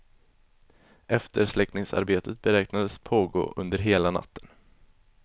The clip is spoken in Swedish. Eftersläckningsarbetet beräknades pågå under hela natten.